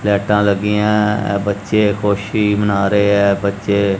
ਲਾਈਟਾਂ ਲੱਗੀਆਂ ਹੈਂ ਇਹ ਬੱਚੇ ਖੁਸ਼ੀ ਮਨਾ ਰਹੇ ਹੈਂ ਬੱਚੇ--